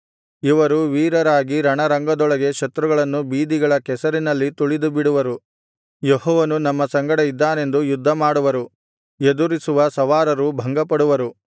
ಇವರು ವೀರರಾಗಿ ರಣರಂಗದೊಳಗೆ ಶತ್ರುಗಳನ್ನು ಬೀದಿಗಳ ಕೆಸರಿನಲ್ಲಿ ತುಳಿದುಬಿಡುವರು ಯೆಹೋವನು ನಮ್ಮ ಸಂಗಡ ಇದ್ದಾನೆಂದು ಯುದ್ಧಮಾಡುವರು ಎದುರಿಸುವ ಸವಾರರು ಭಂಗಪಡುವರು